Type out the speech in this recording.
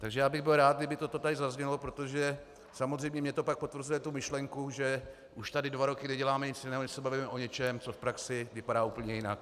Takže já bych byl rád, kdyby toto tady zaznělo, protože samozřejmě mi to pak potvrzuje tu myšlenku, že už tady dva roky neděláme nic jiného, než se bavíme o něčem, co v praxi vypadá úplně jinak.